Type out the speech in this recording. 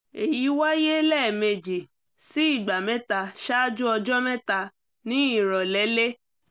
èyí wáyé lẹ́ẹ̀mejì sí ìgbà mẹ́ta ṣáájú ọjọ́ mẹ́ta ní ìrọ̀lẹ́lé